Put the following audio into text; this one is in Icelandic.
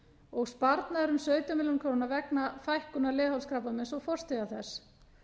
og sparnaður um sautján milljónir króna vegna fækkunar leghálskrabbameins og forstiga þess